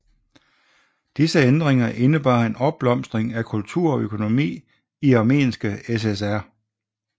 Disse ændringer indebar en opblomstring af kultur og økonomi i Armenske SSR